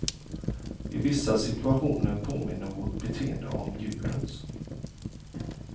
I vissa situationer påminner vårt beteende om djurens.